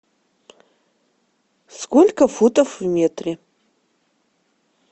сколько футов в метре